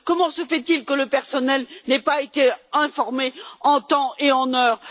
Comment se fait il que le personnel n'ait pas été informé en temps et en heure?